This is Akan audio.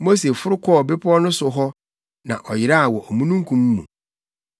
Mose foro kɔɔ bepɔw no so hɔ na ɔyeraa wɔ omununkum mu.